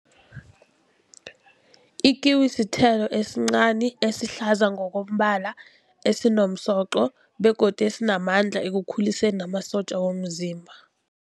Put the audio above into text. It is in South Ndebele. Ikiwi sithelo esincani esihlaza ngokombala esinomsoco begodu esinamandla ekukhuliseni namasotja womzimba.